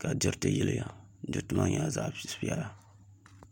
ka diriti yiliya diriti maa nyɛla zaɣ piɛla